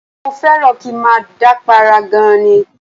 Mo fẹ́ràn kí n máa dápàárá gan-an ni